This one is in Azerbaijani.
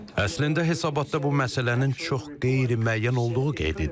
Əslində hesabatda bu məsələnin çox qeyri-müəyyən olduğu qeyd edilir.